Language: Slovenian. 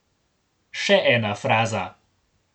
Še ena fraza.